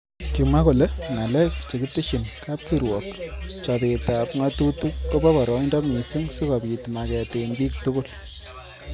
Kimwa kole ngalek chekiteshin kap kirwok chobet ab ngatutik kobo boroindo missing sikobit maket eng bik tugul.